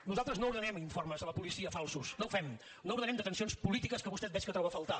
nosaltres no ordenem informes a la policia falsos no ho fem no ordenem detencions polítiques que vostè veig que troba a faltar